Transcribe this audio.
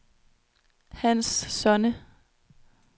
Hans Sonne